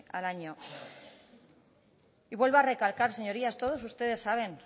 al año y vuelvo a recalcar señorías todos ustedes saben